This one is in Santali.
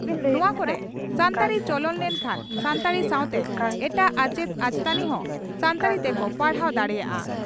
ᱱᱚᱣᱟ ᱠᱚᱨᱮ ᱥᱟᱱᱛᱟᱲᱤ ᱪᱚᱞᱚᱱ ᱞᱮᱠᱷᱟᱱ ᱥᱟᱱᱛᱟᱲᱤ ᱥᱟᱣᱛᱮ ᱮᱴᱟᱜ ᱟᱪᱮᱛ ᱟᱪᱮᱛᱟᱹᱱᱤ ᱦᱚᱸ ᱥᱟᱱᱛᱟᱲᱤ ᱛᱮᱠᱚ ᱯᱟᱲᱦᱟᱣ ᱫᱟᱲᱮᱭᱟᱜᱼᱟ ᱾